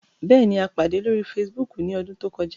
Bẹẹni, a pade lori Fèsìbúukù ni ọdun to kọja